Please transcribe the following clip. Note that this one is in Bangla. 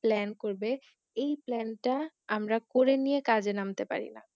Plan করবে এই Plan টা আমরা করে নিয়ে কাজে নামতে পার না